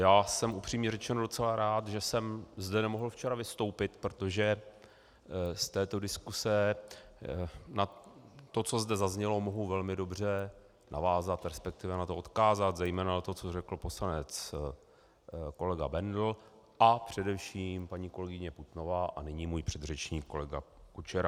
Já jsem, upřímně řečeno, docela rád, že jsem zde nemohl včera vystoupit, protože z této diskuse na to, co zde zaznělo, mohu velmi dobře navázat, respektive na to odkázat, zejména na to, co řekl poslanec kolega Bendl a především paní kolegyně Putnová a nyní můj předřečník kolega Kučera.